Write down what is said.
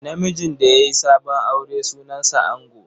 Namijin da ya yi sabon aure sunansa ango.